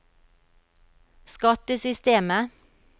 skattesystemet